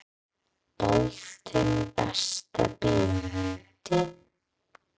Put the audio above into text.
Boltinn Besta bíómyndin?